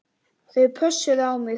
Þau pössuðu á mig.